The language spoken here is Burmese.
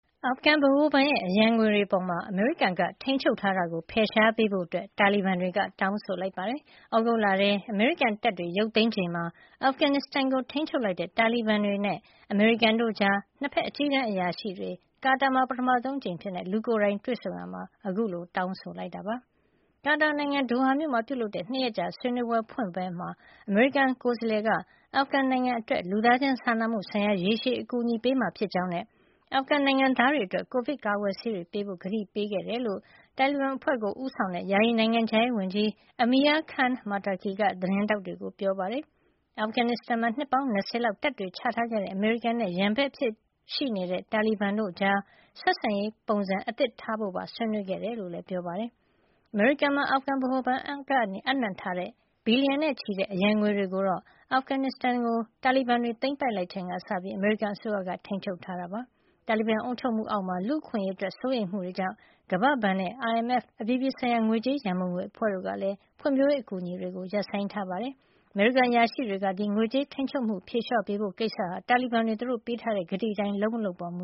အာဖဂန်ဗဟိုဘဏ်ရဲ့ အရန်ငွေတွေအပေါ် အမေရိကန်က ထိန်းချုပ်ထားတာကို ဖယ်ရှားပေးဖို့ တာလီဘန်တွေက တောင်းဆိုလိုက်ပါတယ်။ သြဂုတ်လထဲ အမေရိကန်တပ်တွေ ရုပ်သိမ်းချိန်မှာ အာဖဂန်နစ္စတန်ကို ထိန်းချုပ်လိုက်တဲ့ တာလီဘန်တွေနဲ့ အမေရိကန်တို့ကြား နှစ်ဖက် အကြီးတန်းအရာရှိတွေ ကာတာမှာ ပထမဆုံးအဖြစ် လူကိုယ်တိုင် တွေ့ဆုံရာမှာ အခုလို တောင်းဆိုလိုက်တာပါ။ ကာတာနိုင်ငံ ဒိုဟာမြို့မှာ ပြုလုပ်တဲ့ ၂ ရက်ကြာဆွေးနွေးပွဲ ဖွင့်ပွဲမှာ အမေရိကန် ကိုယ်စားလှယ်က အာဖဂန်နိုင်ငံအတွက် လူသားချင်းစာနာမှုဆိုင်ရာ ရေရှည်အကူအညီပေးမှာ ဖြစ်ကြောင်းနဲ့ အာဖဂန်နိုင်ငံသားတွေအတွက် ကိုဗစ်ကာကွယ်ဆေးတွေပေးဖို့ ကတိပေးခဲ့ကြောင်း တာလီဘန်အဖွဲ့ကို ဦးဆောင်တဲ့ ယာယီနိုင်ငံခြားရေးဝန်ကြီး Amir Khan Muttaqi က သတင်းထောက်တွေကို ပြောပါတယ်။ အာဖဂန်နစ္စတန်မှာ နှစ်ပေါင်း ၂၀ လောက် တပ်တွေချထားခဲ့တဲ့ အမေရိကန်နဲ့ ရန်ဘက်အဖြစ်ရှိနေတဲ့ တာလီဘန်တွေကြား ဆက်ဆံရေး ပုံစံသစ်ထားရှိဖို့ပါ ဆွေးနွေးခဲ့တယ်လို့လည်း ပြောပါတယ်။ အမေရိကန်မှာ အာဖဂန်ဗဟိုဘဏ်က အပ်နှံထားတဲ့ ဘီလီယံနဲ့ချီတဲ့ အရန်ငွေတွေကိုတော့ အာဖဂန်နစ္စတန်နိုင်ငံကို တာလီဘန်တွေ သိမ်းပိုက်လိုက်ချိန်ကစပြီး အမေရိကန်အစိုးရက ထိန်းချုပ်ထားတာ ဖြစ်ပါတယ်။ တာလီဘန်အုပ်ချုပ်မှုအောက်မှာ လူ့အခွင့်အရေးအတွက် စိုးရိမ်မှုတွေကြောင့် ကမ္ဘာ့ဘဏ်နဲ့ IMF အပြည်ပြည်ဆိုင်ရာ ငွေကြေးရန်ပုံငွေအဖွဲ့တို့ကလည်း ဖွံ့ဖြိုးရေး အကူအညီတွေကို ရပ်ဆိုင်းထားပါတယ်။ အမေရိကန် အရာရှိတွေကတော့ ငွေကြေး ထိန်းချုပ်ထားမှုကို ဖြေလျှော့ပေးဖို့ ကိစ္စဟာ တာလီဘန်တွေ သူတို့ပေးထားတဲ့ ကတိအတိုင်း လုပ်မလုပ်ပေါ် မ